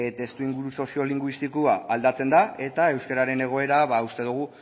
testuinguru sozio linguistikoa aldatzen da eta euskararen egoera uste dugu